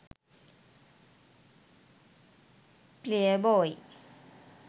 playboy